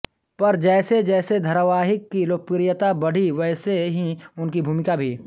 पर जैसे जैसे धारावाहिक की लोकप्रियता बढ़ी वैसे ही उनकी भूमिका भी